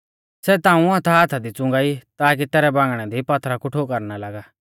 सै ताऊं हाथाहाथा दी च़ुंगा ई ताकी तैरै बांगणै दी पात्थरा कु ठोकर ना लागा